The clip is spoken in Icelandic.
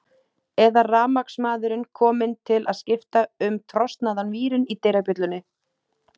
Eða rafmagnsmaðurinn kominn til að skipta um trosnaðan vírinn í dyrabjöllunni.